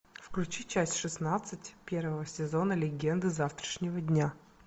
включи часть шестнадцать первого сезона легенды завтрашнего дня